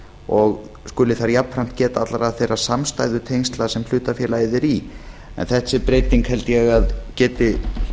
og skuli þar jafnframt geta allra þegar samstæðutengsla sem hlutafélagið er í þessi breyting held ég að geti